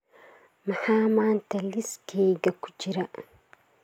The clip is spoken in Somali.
maxaa maanta liiskayga ku jira